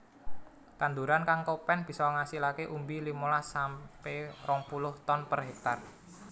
Tanduran kang kopèn bisa ngasilake umbi limolas sampe rong puluh ton per hektar